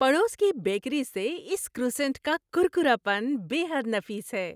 پڑوس کی بیکری سے اس کروسینٹ کا کرکراپن بے حد نفیس ہے۔